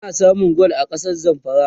ana samun gwal a kasar zamfara